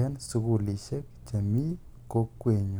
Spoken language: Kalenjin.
en sukulishek chemii kokwenyun.